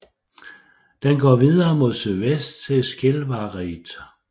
Den går videre mod sydvest til Skjelvareid